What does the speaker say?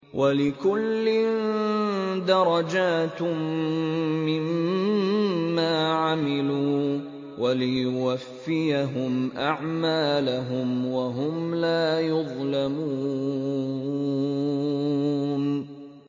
وَلِكُلٍّ دَرَجَاتٌ مِّمَّا عَمِلُوا ۖ وَلِيُوَفِّيَهُمْ أَعْمَالَهُمْ وَهُمْ لَا يُظْلَمُونَ